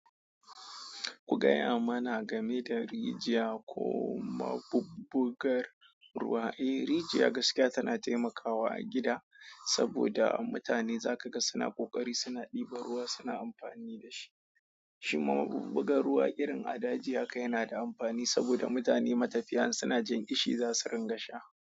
Ku gaya mana game da rijiya ko mabubbugar ruwa. E, rijiya gaskiya tana taimakawa a gida saboda mutane za ka ga suna ƙoƙari, suna ɗiban ruwa, suna amfani da shi. Shi ma mabubbugar ruwa irin a daji haka yana da amfani saboda mutane matafiya in suna jin ƙishi za su ringa sha.